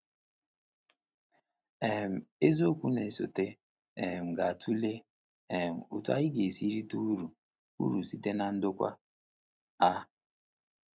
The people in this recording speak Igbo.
um Isiokwu na-esote um ga-atụle um otú anyị ga-esi rite uru uru site na ndokwa a.